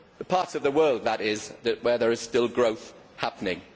the parts of the world, that is, where there is still growth happening.